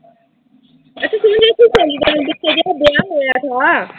ਅੱਛਾ ਤੂੰ ਮੈਨੂੰ ਆਬਦੀ ਸਹੇਲੀ ਬਾਰੇ ਨੀਂ ਦੱਸਿਆ, ਜੀਹਦਾ ਵਿਆਹ ਹੋਇਆ-ਹੋਇਆ।